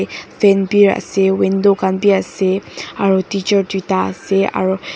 fan bi ase window khan bi ase aro teacher tuita ase aro--